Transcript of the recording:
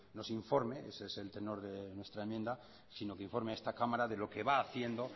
nos informe ese es el tenor de nuestra enmienda sino que informe a esta cámara de lo que va haciendo